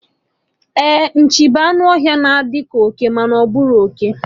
Ee, Nchi bụ anụ ọhịa, ọ na-adi ka oke, mana ọ bukariri oke